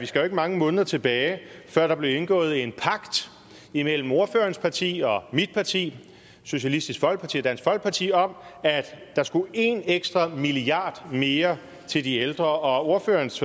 skal mange måneder tilbage før der blev indgået en pagt imellem ordførerens parti og mit parti socialistisk folkeparti og dansk folkeparti om at der skulle en ekstra milliard mere til de ældre og ordførerens